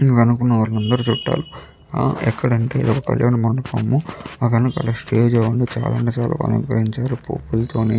దీని వెనకాల ఉన్న వాళ్ళందరూ చుట్టాలు ఎక్కడంటే ఇదే కళ్యాణ మండపము దాని వెనకాల స్టేజి ఉంది దాన్ని చాలా అంటే చాలా బాగా అలంకరించారు.